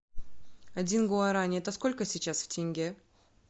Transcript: один гуарани это сколько сейчас в тенге